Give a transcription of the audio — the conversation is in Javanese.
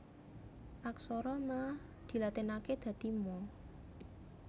Aksara Ma dilatinaké dadi Ma